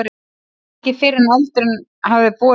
Ekki fyrr en eldurinn hafði brotist út.